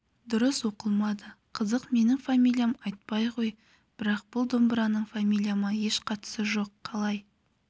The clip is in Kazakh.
дұрыс оқылмады қызық менің фамилиям айтбай ғой бірақ бұл домбыраның фамилияма еш қатысы жоқ қалай